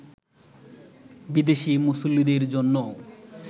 বিদেশি মুসল্লিদের জন্যও